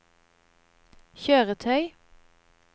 kjøretøy